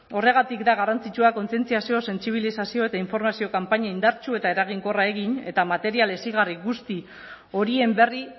horregatik da garrantzitsua kontzientziazio sentsibilizazio eta informazio kanpaina indartsu eta eraginkorra egin eta material hezigarri guzti horien berri